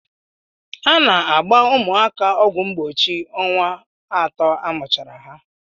A na-agba ụmụaka ọgwụ mgbochi ọnwa atọ amụchara ha.